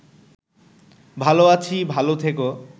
ভালো আছি ভালো থেকো